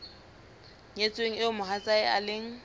nyetsweng eo mohatsae e leng